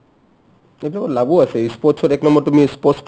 এইবিলাকত লাভো আছে ই sports ত এক নম্বৰ তুমি sports ক